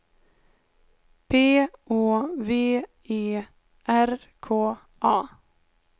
P Å V E R K A